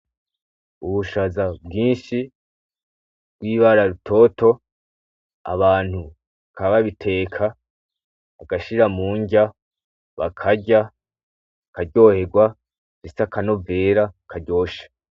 Ubushaza bwinshi bwibara rutoto, abantu bakaba babiteka. Bagashira mu nrya bakarya bakaryoherwa ndetse n'akanovera karyoshe.